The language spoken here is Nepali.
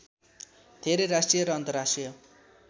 धेरै राष्ट्रिय र अन्तर्राष्ट्रिय